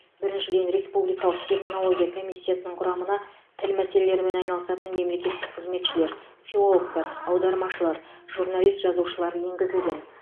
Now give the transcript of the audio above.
біріншіден республикалық терминология комиссиясының құрамына тіл мәселелерімен айналысатын мемлекеттік қызметшілер филологтар аудармашылар журналист жазушылар енгізілген